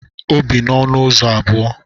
O bi n'ọnụ ụzọ abụọ.